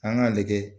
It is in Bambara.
An k'a lajɛ